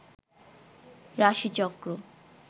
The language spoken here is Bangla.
রাশিচক্র